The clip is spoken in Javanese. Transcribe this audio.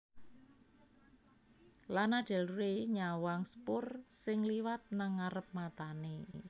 Lana Del Rey nyawang sepur sing liwat nang ngarep matane